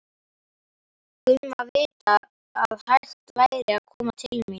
Gumma vita að hægt væri að koma til mín.